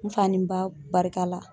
N fa ni n ba barika la